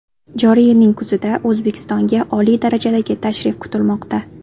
Joriy yilning kuzida O‘zbekistonga oliy darajadagi tashrif kutilmoqda.